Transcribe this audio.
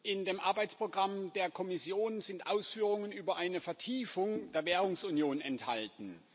In dem Arbeitsprogramm der Kommission sind Ausführungen über eine Vertiefung der Währungsunion enthalten.